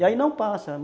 E aí não passa.